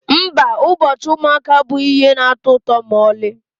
Mba, ụbọchị ụmụaka abụghị ihe na-atọ ụtọ ma ọlị.